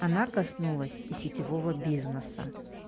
она коснулась и сетевого бизнеса